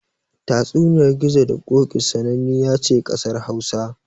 Tatsuniyar Gizo da Ƙoƙi sananniya ce ƙasar Hausa.